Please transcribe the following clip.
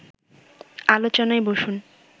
আলোচনায় বসুন